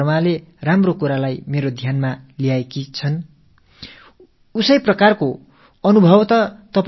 ஷில்பி வர்மா அவர்கள் நல்ல காலம் எனக்கு இதை நினைவூட்டினார்கள்